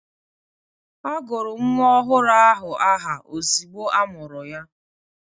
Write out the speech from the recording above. Agụrụ nwa ọhụrụ ahụ aha ozigbo amụrụ ya.